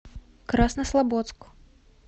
краснослободск